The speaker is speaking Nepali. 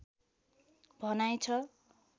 भनाइ छ